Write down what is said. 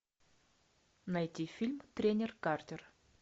найти фильм тренер картер